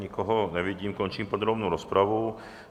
Nikoho nevidím, končím podrobnou rozpravu.